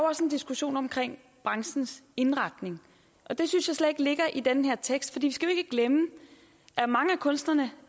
også en diskussion om branchens indretning og det synes jeg slet ikke ligger i den her tekst for vi skal jo ikke glemme at mange af kunstnerne